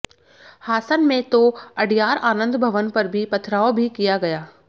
हासन में तो अडयार आनंद भवन पर भी पथराव भी किया गया